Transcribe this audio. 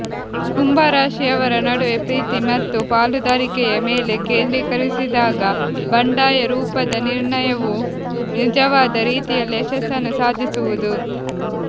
ಕುಂಭರಾಶಿಯವರ ನಡುವೆ ಪ್ರೀತಿ ಮತ್ತು ಪಾಲುದಾರಿಕೆಯ ಮೇಲೆ ಕೇಂದ್ರೀಕರಿಸಿದಾಗ ಬಂಡಾಯ ರೂಪದ ನಿರ್ಣಯವು ನಿಜವಾದ ರೀತಿಯಲ್ಲಿ ಯಶಸ್ಸನ್ನು ಸಾಧಿಸುವುದು